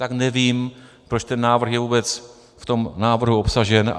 Tak nevím, proč ten návrh je vůbec v tom návrhu obsažen.